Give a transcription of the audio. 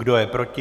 Kdo je proti?